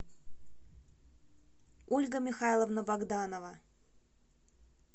ольга михайловна богданова